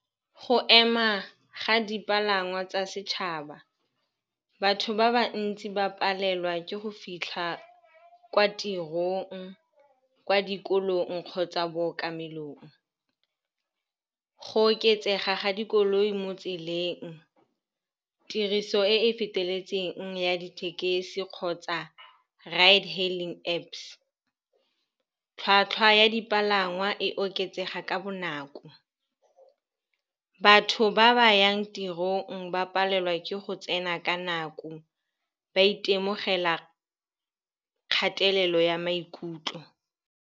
Go ema ga dipalangwa tsa setšhaba, batho ba ba ntsi ba palelwa ke go fitlha kwa tirong, kwa dikolong kgotsa bookamelong. Go oketsega ga dikoloi mo tseleng, tiriso e e feteletseng ya dithekesi kgotsa ride hailing Apps, tlhwatlhwa ya dipalangwa e oketsega ka bonako. Batho ba ba yang tirong ba palelwa ke go tsena ka nako, ba itemogela kgatelelo ya maikutlo.